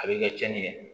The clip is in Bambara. A bɛ kɛ tiɲɛni ye